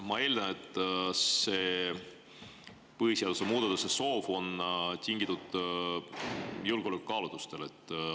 Ma eeldan, et see põhiseaduse muutmise soov on tingitud julgeoleku kaalutlustest.